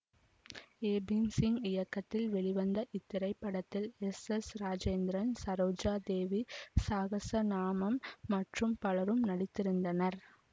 ஏ பீம்சிங் இயக்கத்தில் வெளிவந்த இத்திரைப்படத்தில் எஸ் எஸ் ராஜேந்திரன் சரோஜாதேவி சகஸ்ரநாமம் மற்றும் பலரும் நடித்திருந்தனர்